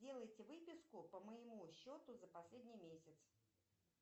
сделайте выписку по моему счету за последний месяц